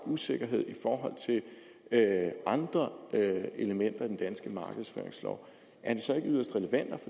usikkerhed i forhold til andre elementer i den danske markedsføringslov er det så ikke yderst relevant